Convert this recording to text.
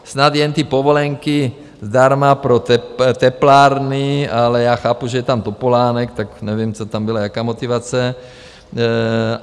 Snad jen ty povolenky zdarma pro teplárny, ale já chápu, že je tam Topolánek, tak nevím, co tam bylo, jaká motivace.